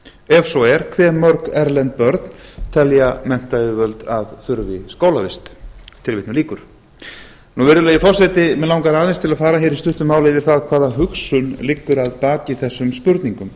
ef svo er hve mörg erlend börn telja menntayfirvöld að þurfi skólavist virðulegi forseti mig langar aðeins til að fara í stuttu máli yfir það hvaða hugsun liggur að baki þessum spurningum